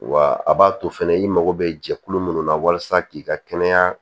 Wa a b'a to fɛnɛ i mago bɛ jɛkulu minnu na walasa k'i ka kɛnɛya